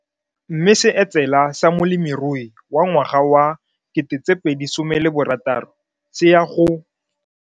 Mme seetsela sa molemirui wa ngwaga wa 2016 se ya go.